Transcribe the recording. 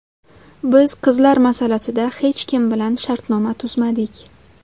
Biz qizlar masalasida hech kim bilan shartnoma tuzmadik.